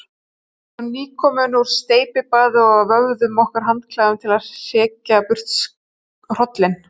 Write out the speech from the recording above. Við vorum nýkomin úr steypibaði og vöfðum okkur handklæðum til að hrekja burt hrollinn.